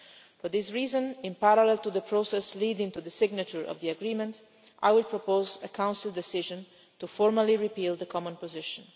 For this reason, in parallel to the process leading to the signature of the agreement, I will propose a Council decision to formally repeal the common position.